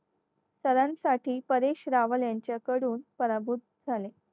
सर्वांसाठी परिश्रावण यांच्याकडून पराभूत झाले.